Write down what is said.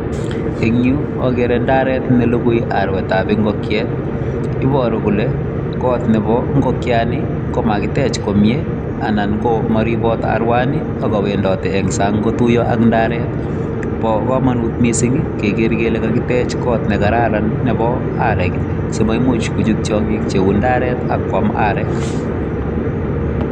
Eng yu agere ndaret ne lugui aruetab ingokiet ibore kole kot nebo ingolkiani ko makitech komie anan ko moribot aruani ako kawendoti eng sang kotuiyo ak indaret. Bo kamanut missing keker kele kakitech kot ne kararan nebo arek simaimuch kochut tiongik cheu ndaret ak kwam arek.